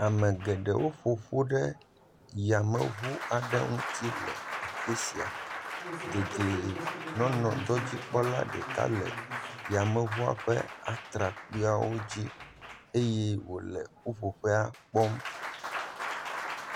Ame geɖewo ƒoƒu ɖe yame ʋu aɖe ŋuti le afisia. Dedienɔnɔdzikpɔla ɖeka le yameʋua ƒe atrakpuiwo dzi eye wole ƒuƒoƒea kpɔm.